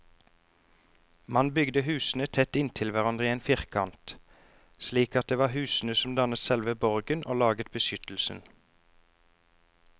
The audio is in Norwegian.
Man bygde husene tett inntil hverandre i en firkant, slik at det var husene som dannet selve borgen og laget beskyttelsen.